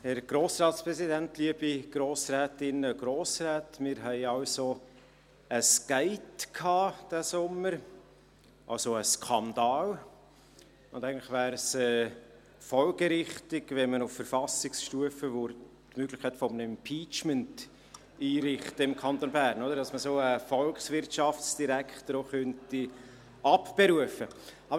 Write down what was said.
Wir hatten also «ein Gate» in diesem Sommer, also einen Skandal, und eigentlich wäre es folgerichtig, wenn wir im Kanton Bern auf Verfassungsstufe die Möglichkeit eines Impeachments einrichten würden, damit man einen solchen Volkswirtschaftsdirektor auch abberufen könnte.